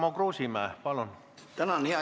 Tarmo Kruusimäe, palun!